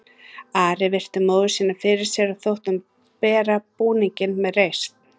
Ari virti móður sína fyrir sér og þótti hún bera búninginn með reisn.